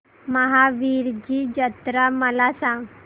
महावीरजी जत्रा मला सांग